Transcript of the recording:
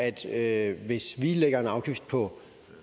at hvis vi lægger afgift på